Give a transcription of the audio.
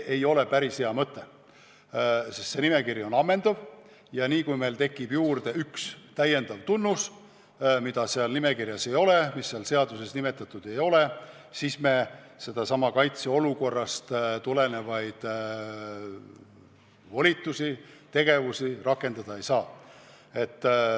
Sest see nimekiri on ammendav ja kohe, kui tekib juurde üks täiendav tunnus, mida seal nimekirjas ei ole, mida seal seaduses nimetatud ei ole, siis me kaitseolukorrast tulenevaid volitusi ja tegevusi rakendada ei saa.